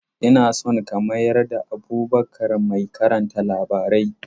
Ina so ka mayar da Abubakar mai karanta labarai.